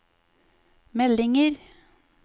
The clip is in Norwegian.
meldinger